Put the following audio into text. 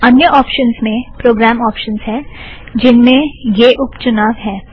अन्य ऑप्शनस में programme options हैं जिन्में यह उप चुनाव हैं